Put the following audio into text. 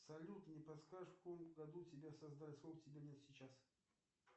салют не подскажешь в каком году тебя создали сколько тебе лет сейчас